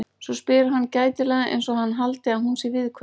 Svo spyr hann gætilega einsog hann haldi að hún sé viðkvæm.